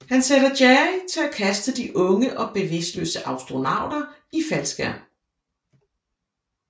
Han sætter Jerry til at kaste de unge og bevidstløse astronauter i faldskærm